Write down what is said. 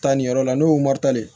Taa nin yɔrɔ la ne y'o de